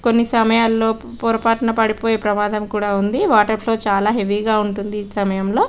కొన్ని సమయాల్లో పొరపాటున పడి పోయే ప్రమాదం కూడా ఉంది వాటర్ ఫ్లో చాల హెవీ గ ఉంటుంది ఈ సమయంలో.